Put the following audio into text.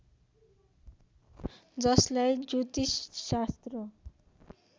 जसलाई ज्योतिष शास्त्र